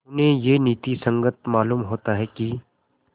उन्हें यह नीति संगत मालूम होता है कि